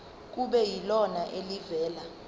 kube yilona elivela